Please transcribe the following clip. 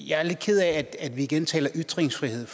jeg er lidt ked af at vi igen taler ytringsfrihed